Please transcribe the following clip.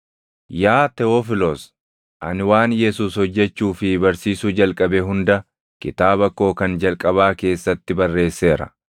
Yaa Tewofilos, ani waan Yesuus hojjechuu fi barsiisuu jalqabe hunda kitaaba koo kan jalqabaa keessatti barreesseera.